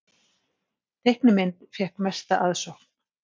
Teiknimynd fékk mesta aðsókn